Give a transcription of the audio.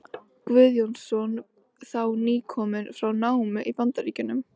Guðjónsson, þá nýkominn frá námi í Bandaríkjunum.